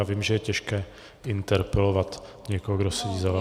Já vím, že je těžké interpelovat někoho, kdo sedí za vámi.